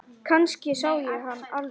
Kannski sé ég hann aldrei.